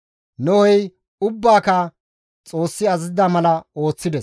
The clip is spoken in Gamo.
Nohey ubbaaka Xoossi azazida mala ooththides.